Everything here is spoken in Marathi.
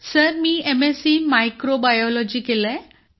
सर मी एमएससी मायक्रोबायोलॉजी केलं आहे